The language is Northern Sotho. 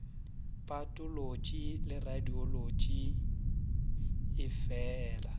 patolotši le radiolotši e feela